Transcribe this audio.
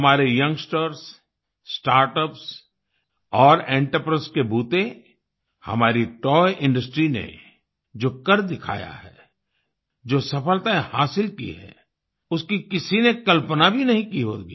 हमारे youngsters startups और entrepreneurs के बूते हमारी तोय इंडस्ट्री ने जो कर दिखाया है जो सफलताएँ हासिल की हैं उसकी किसी ने कल्पना भी नहीं की होगी